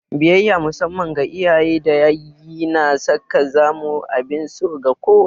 Biyayya musamman ga iyaye da yayyi na sa ka zamo abin so ga kowa.